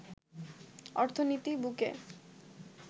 অর্থনীতির বুকে